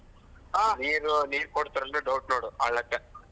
ನೀರು ನೀರ್ ಕೊಡ್ತಾರ ಇಲ್ಲ doubt . ನೋಡು ಆ .